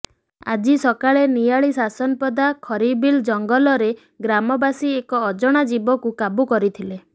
ଆଜି ସକାଳେ ନିଆଳି ଶାସନପଦା ଖରିବିଲ ଜଙ୍ଗଲରେ ଗ୍ରାମବାସୀ ଏକ ଅଜଣା ଜୀବକୁ କାବୁ କରିଥିଲେ